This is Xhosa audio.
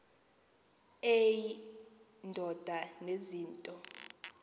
eyi ndoda enezinto